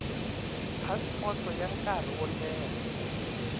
phasipoto ya nkarhi wo leha